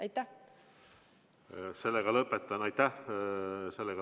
Aitäh!